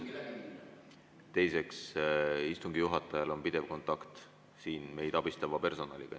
Teiseks, istungi juhatajal on pidev kontakt meid abistava personaliga.